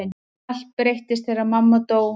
Allt breyttist þegar mamma dó.